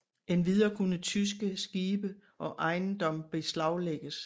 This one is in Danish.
Endvidere kunne tyske skibe og ejendom beslaglægges